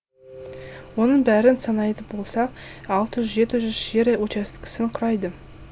оның бәрін санайтын болсақ алты жүз жеті жүз жер учаскесін құрайды